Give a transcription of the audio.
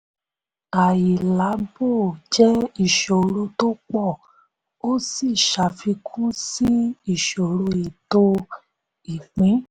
àìlábò jẹ́ ìṣòro tó pọ̀ ó sì ṣàfikún sí ìṣòro ètò ìpín.